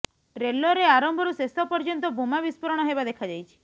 ଟ୍ରେଲରରେ ଆରମ୍ଭରୁ ଶେଷ ପର୍ୟ୍ୟନ୍ତ ବୋମା ବିସ୍ଫୋରଣ ହେବା ଦେଖାଯାଇଛି